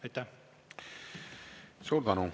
Aitäh!